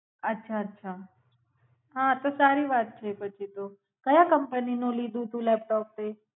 અચ્છા અચ્છા સારી વાત છે પછી તો કાયા કંપની નુ લીધું તું લેપટોપ એ.